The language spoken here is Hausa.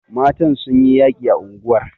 Matan sun yi yaƙi a unguwar..